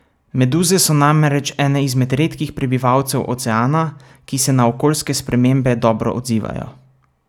Meduze so namreč ene izmed redkih prebivalcev oceana, ki se na okoljske spremembe dobro odzivajo.